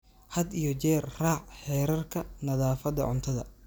Had iyo jeer raac xeerarka nadaafadda cuntada.